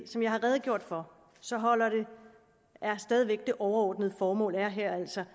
som jeg har redegjort for så er det overordnede formål her altså